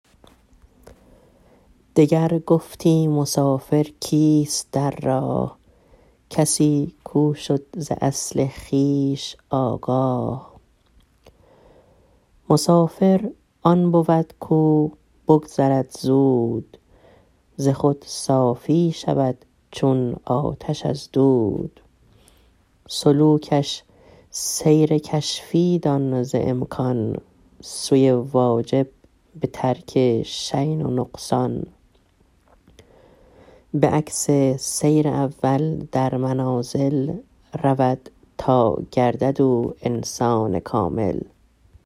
دگر گفتی مسافر کیست در راه کسی کو شد ز اصل خویش آگاه مسافر آن بود کو بگذرد زود ز خود صافی شود چون آتش از دود سلوکش سیر کشفی دان ز امکان سوی واجب به ترک شین و نقصان بعکس سیر اول در منازل رود تا گردد او انسان کامل